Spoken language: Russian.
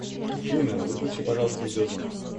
афина выключи пожайлуста видеозвонок